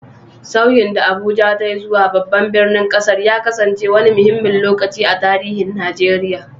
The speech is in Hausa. Sauyin da Abuja ta yi zuwa babban birnin ƙasar ya kasance wani muhimmin lokaci a tarihin Najeriya.